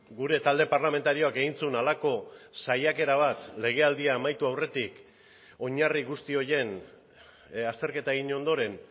gure talde parlamentarioak egin zuen halako saiakera bat legealdia amaitu aurretik oinarri guzti horien azterketa egin ondoren